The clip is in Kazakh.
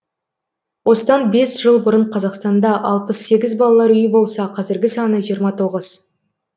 осыдан бес жыл бұрын қазақстанда алпыс сегіз балалар үйі болса қазіргі саны жиырма тоғыз